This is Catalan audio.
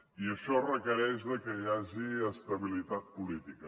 i això requereix que hi hagi estabilitat política